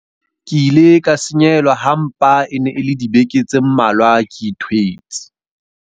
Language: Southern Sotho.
Ke ile ka senyehelwa ha mpa e ne e le dibeke tse mmalwa ke ithwetse.